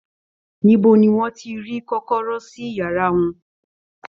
Níbo ni wọn ti ri kọ̀kọ̀rọ̀ sí yàrá wọn?